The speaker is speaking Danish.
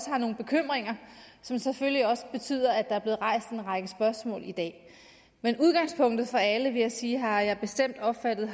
har nogle bekymringer som selvfølgelig også betyder at der er blevet rejst en række spørgsmål i dag men udgangspunktet for alle vil jeg sige har jeg bestemt opfattet